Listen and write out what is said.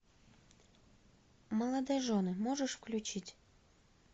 молодожены можешь включить